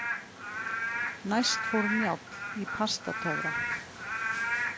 Næst fór Njáll í Pastatöfra.